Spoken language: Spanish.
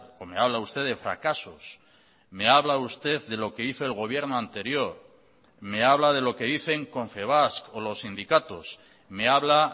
o me habla usted de fracasos me habla usted de lo que hizo el gobierno anterior me habla de lo que dicen confebask o los sindicatos me habla